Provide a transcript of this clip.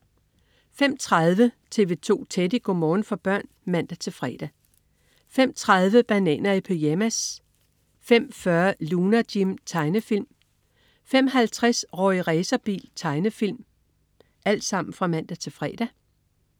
05.30 TV 2 Teddy. Go' morgen for børn (man-fre) 05.30 Bananer i pyjamas (man-fre) 05.40 Lunar Jim. Tegnefilm (man-fre) 05.50 Rorri Racerbil. Tegnefilm (man-fre)